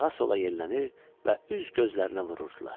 sağa-sola yellənir və üz gözlərinə vururdular.